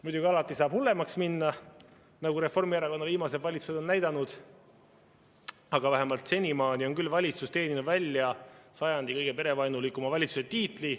Muidugi, alati saab hullemaks minna, nagu Reformierakonna viimased valitsused on näidanud, aga vähemalt senimaani on küll see valitsus teeninud välja sajandi kõige perevaenulikuma valitsuse tiitli.